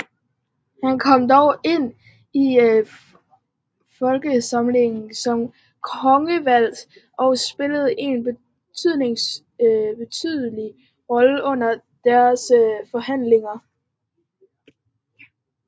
Han kom dog ind i forsamlingen som kongevalgt og spillede en betydelig rolle under dens forhandlinger